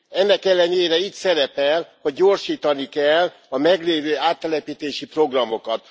Ennek ellenére itt szerepel, hogy gyorsítani kell a meglévő áttelepítési programokat.